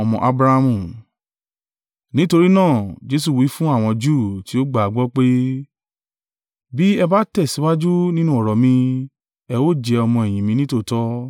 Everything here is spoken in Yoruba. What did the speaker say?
Nítorí náà Jesu wí fún àwọn Júù tí ó gbà á gbọ́, pé, “Bí ẹ bá tẹ̀síwájú nínú ọ̀rọ̀ mi ẹ ó jẹ́ ọmọ-ẹ̀yìn mi nítòótọ́.